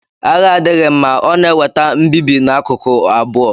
Agha adịghị mma; ọ na-eweta mbibi n'akụkụ abụọ.